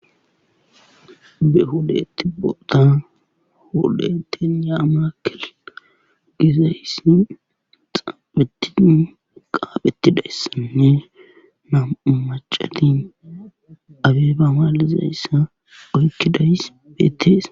Be hudatti boda hudatin yaamakkel gizayssin xaaphetin qaaphetidayssanne nam'u macalin abeebamalizayssa oykkidays betteesa.